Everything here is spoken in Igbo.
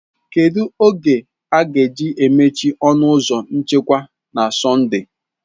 Kedu oge a ga-emechi ọnụ ụzọ nchekwa na Sọnde?